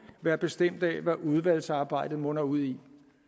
være bestemt af hvad udvalgsarbejdet munder ud i